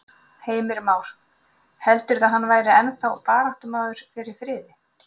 Heimir Már: Heldurðu að hann væri ennþá baráttumaður fyrir friði?